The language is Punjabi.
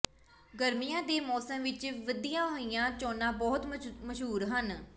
ਗਰਮੀਆਂ ਦੇ ਮੌਸਮ ਵਿਚ ਵਧੀਆਂ ਹੋਈਆਂ ਚੋਣਾਂ ਬਹੁਤ ਮਸ਼ਹੂਰ ਹਨ